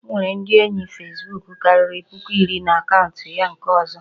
O nwere ndị enyi fesbuku karịrị puku iri na akaụntụ ya nke ọzọ